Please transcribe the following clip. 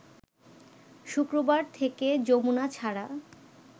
শুক্রবার থেকে যমুনা ছাড়া